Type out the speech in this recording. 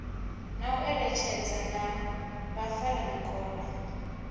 na u eletshedzana na vhafaramikovhe